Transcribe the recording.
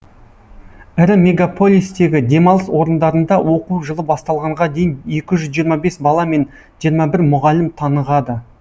ірі мегаполистегі демалыс орындарында оқу жылы басталғанға дейін екі жүз жиырма бес бала мен жиырма бір мұғалім тынығады